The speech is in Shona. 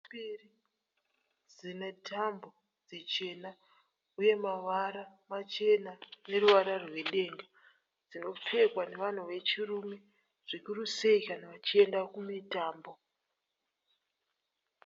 .. mbiri dzine tambo dzichena uye mavara machena neruvara rwedenga dzinopfekwa nevanhu vechirume zvikuru sei kana vachienda kumutambo.